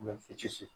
Mɛ fitiri